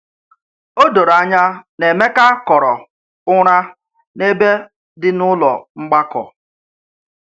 O doro anya na Emeka kọrọ ụra n’ebe dị n’ụlọ mgbakọ.